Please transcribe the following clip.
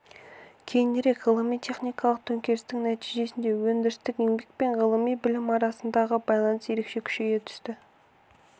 кейінірек ғылыми-техникалық төңкерістің нәтижесінде өндірістік еңбек пен ғылыми білім арасындағы байланыс ерекше күшейе түсті